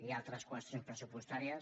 hi ha altres qüestions pressupostàries